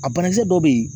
A banakisɛ dɔw bɛ yen